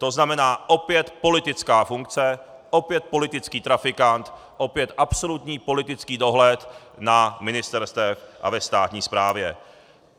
To znamená, opět politická funkce, opět politický trafikant, opět absolutní politický dohled na ministerstvech a ve státní správě.